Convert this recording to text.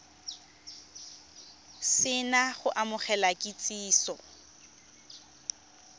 se na go amogela kitsiso